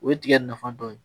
O ye tigɛ nafa dɔ ye